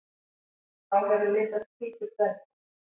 Þá hefur myndast hvítur dvergur.